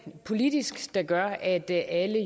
politisk der gør at alle